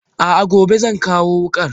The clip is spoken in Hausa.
A'a gobe zan kawo wukar.